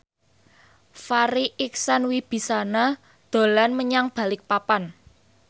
Farri Icksan Wibisana dolan menyang Balikpapan